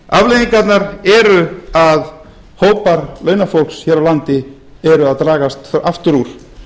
afleiðingarnar eru að hópar launafólks hér á landi er að dragast aftur úr